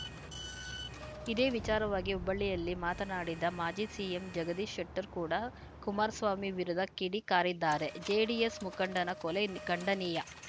ಇದೇ ವಿಚಾರವಾಗಿ ಹುಬ್ಬಳ್ಳಿಯಲ್ಲಿ ಮಾತನಾಡಿದ ಮಾಜಿ ಸಿಎಂ ಜಗದೀಶ್‌ ಶೆಟ್ಟರ್‌ ಕೂಡ ಕುಮಾರಸ್ವಾಮಿ ವಿರುದ್ಧ ಕಿಡಿಕಾರಿದ್ದಾರೆ ಜೆಡಿಎಸ್‌ ಮುಖಂಡನ ಕೊಲೆ ನ ಖಂಡನೀಯ